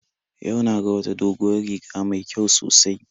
Yau na ga wata doguwar riga mai kyau sosai